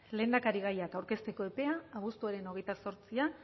lehendakarigaiak aurkezteto epea abuztuaren hogeita zortzian